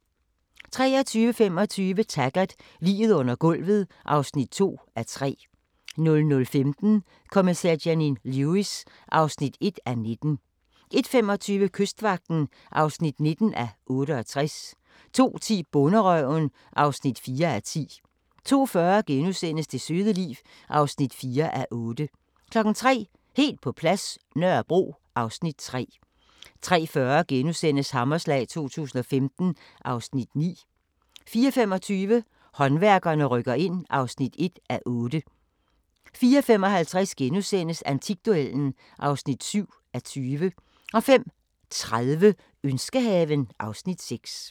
23:25: Taggart: Liget under gulvet (2:3) 00:15: Kommissær Janine Lewis (1:19) 01:25: Kystvagten (19:68) 02:10: Bonderøven (4:10)* 02:40: Det søde liv (4:8)* 03:00: Helt på plads – Nørrebro (Afs. 3) 03:40: Hammerslag 2015 (Afs. 9)* 04:25: Håndværkerne rykker ind (1:8) 04:55: Antikduellen (7:20)* 05:30: Ønskehaven (Afs. 6)